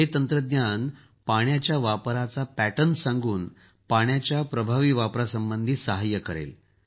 हे तंत्रज्ञान पाण्याच्या वापराच्या पॅटर्न सांगून पाण्याच्या प्रभावी वापरासंबंधी सहाय्य करेल